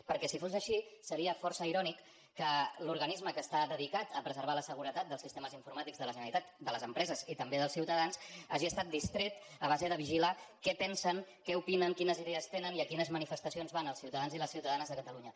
perquè si fos així seria força irònic que l’organisme que està dedicat a preservar la seguretat dels sistemes informàtics de la generalitat de les empreses i també dels ciutadans hagi estat distret a base de vigilar què pensen què opinen quines idees tenen i a quines manifestacions van els ciutadans i les ciutadanes de catalunya